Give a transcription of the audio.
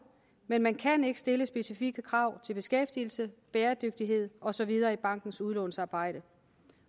men man kan ikke stille specifikke krav til beskæftigelsen bæredygtigheden og så videre i bankens udlånsarbejde